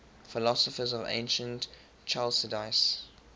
philosophers of ancient chalcidice